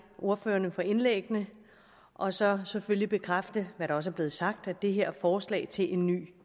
ordførerne for indlæggene og så selvfølgelig bekræfte hvad der også er blevet sagt at det her forslag til en ny